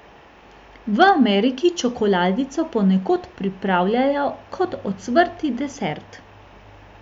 V Ameriki čokoladico ponekod pripravljajo kot ocvrti desert!